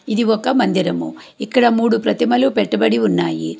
ఇది ఒక మందిరము ఇక్కడ మూడు ప్రతిమలు పెట్టుబడి ఉన్నాయి.